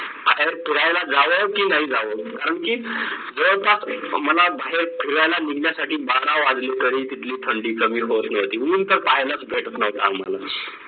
बाहेर फिरायला जावं की नाय जावं कारण की जवळपास मला बाहेर फिरायला निघण्यासाठी बारा वाजले तरी तिथली थंडी कमी होत नव्हती ऊन तर पहिलाच भेटत नव्हतं